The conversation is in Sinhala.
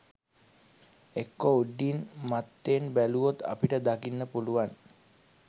එක්කෝ උඩින් මත්තෙන් බැලුවොත් අපට දකින්න පුළුවන්